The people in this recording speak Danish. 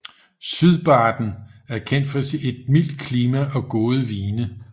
Sydbaden er kendt for mildt klima og gode vine